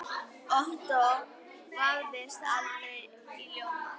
Ottó vafðist aldrei í ljóma.